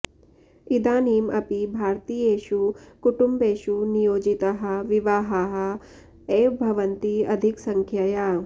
इदानीम् अपि भारतीयेषु कुटुम्बेषु नियोजिताः विवाहाः एव भवन्ति अधिकसंख्यया